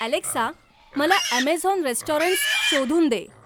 Alexa मला Amazon restaurants शोधून दे